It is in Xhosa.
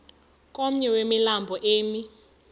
komnye wemilambo emi